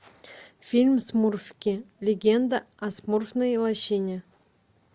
фильм смурфики легенда о смурфной лощине